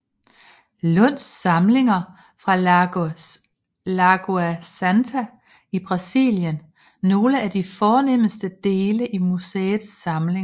Lunds samlinger fra Lagoa Santa i Brasilien nogle af de fornemste dele i museets samlinger